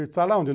Está lá onde?